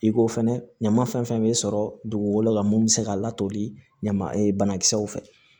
I ko fɛnɛ ɲama fɛn fɛn bɛ sɔrɔ dugukolo la mun bɛ se ka latoli ɲama e banakisɛw fɛ